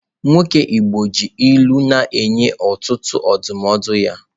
Nwoke igbo ji ilu na-enye ọtụtụ ndụmọdụ ya